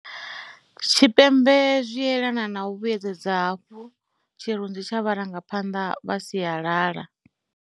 Tshipembe zwi tshi elana na u vhuedzedza hafhu tshirunzi tsha vharanga phanḓa vha sialala.